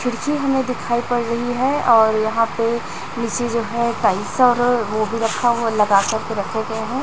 खिड़की हमे दिखाई पड़ रही है और यहाँ पे नीचे जो है टाइल्स और वो भी रखा हुआ लगा कर के रखे गए है।